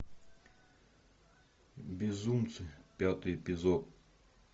безумцы пятый эпизод